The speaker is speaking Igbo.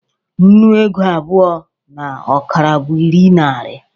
nnu ego abụọ na ọkara bụ iri nari